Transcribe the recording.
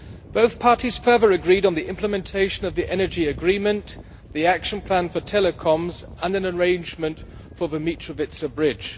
Both parties further agreed on the implementation of the energy agreement, the action plan for telecoms and an arrangement for the Mitrovica Bridge.